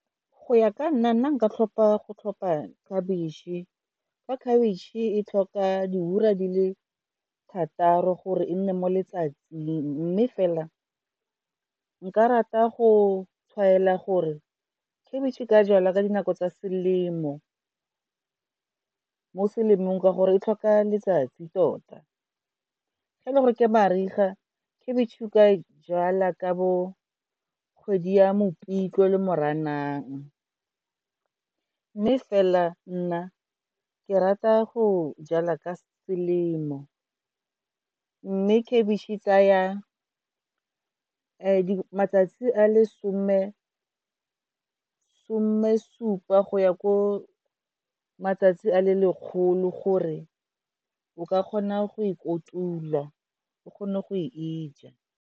Go ya ka nna, nna nka tlhopha go tlhopha khabitšhe, fa khabitšhe e tlhoka di ura di le thataro gore e nne mo letsatsing, mme fela nka rata go tshwaela gore khebitšhe e ka jalwa ka dinako tsa selemo. Mo selemong, ka gore e tlhoka letsatsi tota, ge e le gore ke mariga khebitšhe o ka jala ka bo kgwedi ya mopitlwe le moranang. Mme fela nna ke rata go jala ka selemo. Mme khabitšhe e tsaya matsatsi a le some supa go ya ko matsatsi a le lekgolo gore o ka kgona go e kotulwa, o kgone go e ja.